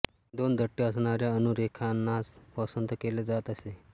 दोन दट्टे असणाऱ्या अनुरेखनास पसंत केल्या जात असे